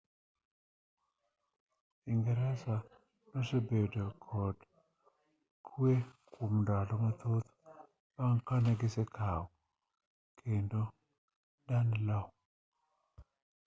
ingeresa nosebedo kod kwe kuom ndalo mathoth bang' ka ne gisekao kendo danelaw